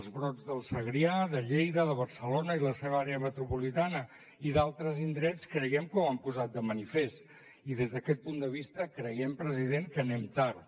els brots del segrià de lleida de barcelona i la seva àrea metropolitana i d’altres indrets creiem que ho han posat de manifest i des d’aquest punt de vista creiem president que anem tard